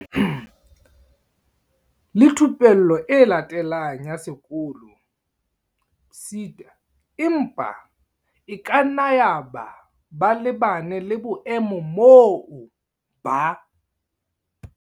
Le Thupello e Latelang ya Sekolo, PSET, empa e kanna yaba ba lebane le boemo moo ba.